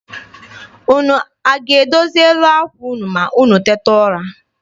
Unu ga-edozi elu àkwà unu ma unu tete n'ụra?